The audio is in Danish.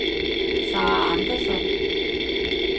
Sarah Andersson